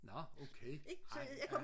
nå okay ah ja